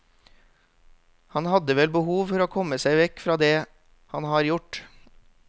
Han hadde vel behov for å komme seg vekk fra det han har gjort.